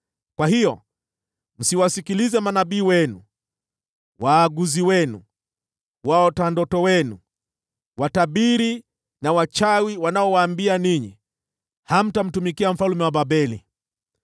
Kwa hiyo msiwasikilize manabii wenu, waaguzi wenu, waota ndoto wenu, watabiri na wachawi wanaowaambia ninyi: Hamtamtumikia mfalme wa Babeli.